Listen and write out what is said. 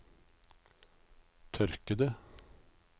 tørkede